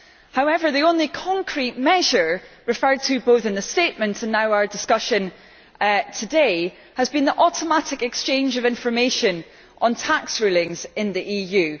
However, the only concrete measure referred to, both in the statement and now in our discussion today, has been the automatic exchange of information on tax rulings in the EU.